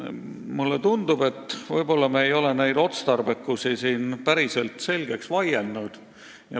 Mulle tundub, et vahest pole selle lahenduse otstarbekus päriselt selgeks vaieldud.